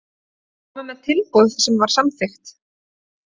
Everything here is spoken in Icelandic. Þeir komu með tilboð sem var samþykkt.